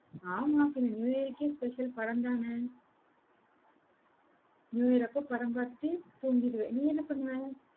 ஆமா, பின்ன நியூ இயர்க்கே special படம்தானே நியூ இயர் அப்ப படம் பார்த்துட்டு தூங்கிடுவேன். நீ என்ன பண்ணுவ?